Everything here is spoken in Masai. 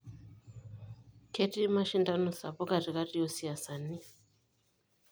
Kejii mashindano sapuk katikati oosiasani.